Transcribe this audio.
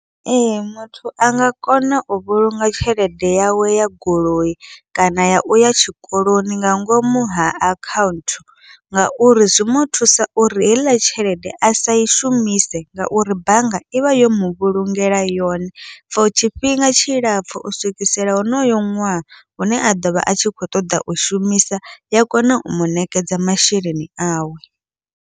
Ee, muthu anga kona u vhulunga tshelede yawe ya goloi, kana ya uya tshikoloni nga ngomu ha akhaunthu ngauri zwi muthusa uri heiḽa tshelede asa i shumise, ngauri bannga ivha yo muvhulungela yone for tshifhinga tshilapfhu u swikisela honoyo ṅwaha hune a ḓovha a tshi kho ṱoḓa u shumisa ya kona u muṋekedza masheleni awe.